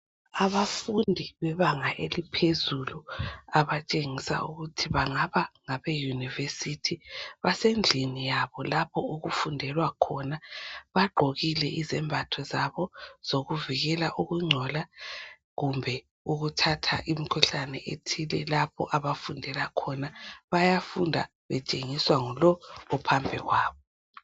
Abafundi bebanga eliphezulu abatshengisa ukuthi bangaba ngabe university. Basendlini yabo lapho okufundelwa khona .Bagqokile izembatho zabo zokuvikela ukungcola kumbe ukuthatha imkhuhlane ethile lapho abafundela khona. Bayafunda betshengiswa ngulo ophambi kwabo .